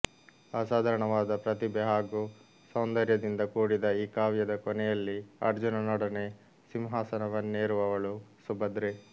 ಅಸಾಧಾರಣವಾದ ಪ್ರತಿಭೆ ಹಾಗೂ ಸೌಂದರ್ಯದಿಂದ ಕೂಡಿದ ಈ ಕಾವ್ಯದ ಕೊನೆಯಲ್ಲಿ ಅರ್ಜುನನೊಡನೆ ಸಿಂಹಾಸನವನ್ನೇರುವವಳು ಸುಭದ್ರೆ